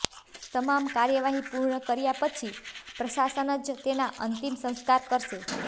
તમામ કાર્યવાહી પૂર્ણ કર્યા પછી પ્રશાસન જ તેના અંતિમ સંસ્કાર કરશે